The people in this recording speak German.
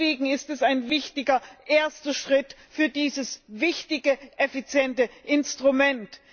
Deshalb ist es ein wichtiger erster Schritt für dieses wichtige effiziente Instrument.